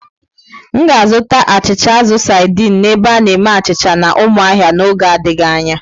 M ga-azụta achịcha azụ saidin n'ebe a na-eme achịcha na Umuahia n'oge adịghị anya.